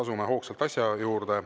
Asume hoogsalt asja juurde.